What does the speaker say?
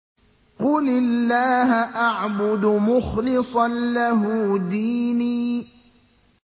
قُلِ اللَّهَ أَعْبُدُ مُخْلِصًا لَّهُ دِينِي